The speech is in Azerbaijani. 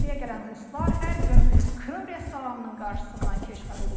Səfirliyə gələn ruslar hər gün Krım restoranının qarşısından keçməli olurlar.